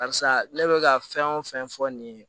Karisa ne bɛ ka fɛn o fɛn fɔ nin ye